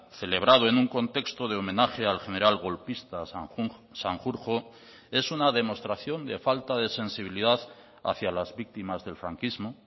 celebrado en un contexto de homenaje al general golpista sanjurjo es una demostración de falta de sensibilidad hacia las víctimas del franquismo